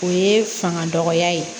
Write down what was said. O ye fanga dɔgɔya ye